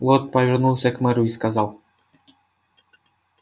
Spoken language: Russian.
лорд повернулся к мэру и сказал